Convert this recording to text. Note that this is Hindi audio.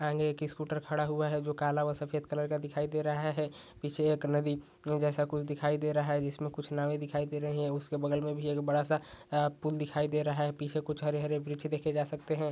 आगे एक स्कूटर खड़ा हुआ है जो काले व सफेद कलर का दिखाई दे रहा हैं पीछे एक नदी जैसा कुछ दिखाई दे रहा है जिसमे कुछ नावे दिखाई दे रही है उसके बगल मे भी एक बड़ा-सा भी पुल दिखाई दे रहा है पीछे कुछ हरे-हरे वृक्ष देखे जा सकते हैं।